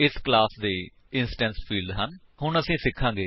ਅਸੀ static fields ਦੇ ਬਾਰੇ ਵਿੱਚ ਅਗਲੇ ਟਿਊਟੋਰਿਅਲਸ ਵਿੱਚ ਸਿਖਾਂਗੇ